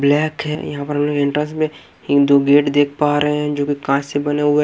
Black है यहां पर एंटस में एक दो गेट देख पा रहे हैं जो कांच से बना हुआ है।